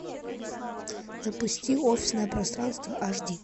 запусти офисное пространство аш ди